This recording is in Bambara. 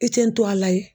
I tɛ nto a la yen